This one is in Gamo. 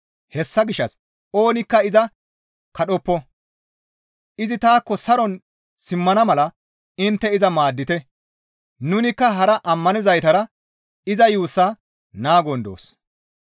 Hessa gishshas oonikka iza kadhoppo; izi taakko saron simmana mala intte iza maaddite; nunikka hara ammanizaytara iza yuussaa naagon doos.